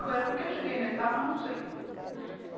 Agora, por que eu cheguei no Etapa, não sei.